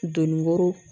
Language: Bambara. Donni woro